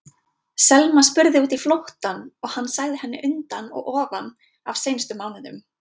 Selma spurði út í flóttann og hann sagði henni undan og ofan af seinustu mánuðum.